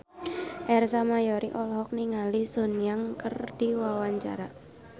Ersa Mayori olohok ningali Sun Yang keur diwawancara